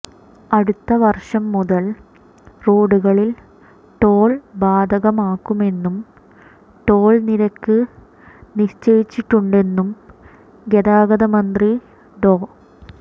അടുത്ത വർഷം മുതൽ റോഡുകളിൽ ടോൾ ബാധകമാക്കുമെന്നും ടോൾ നിരക്ക് നിശ്ചയിച്ചിട്ടുണ്ടെന്നും ഗതാഗത മന്ത്രി ഡോ